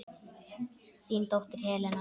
Þín dóttir Helena.